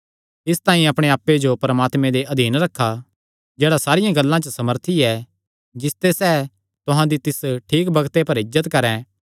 इसतांई अपणे आप्पे जो परमात्मे दे अधीन रखा जेह्ड़ा सारियां गल्लां च सामर्थी ऐ जिसते सैह़ तुहां दी तिस ठीक बग्ते पर इज्जत करैं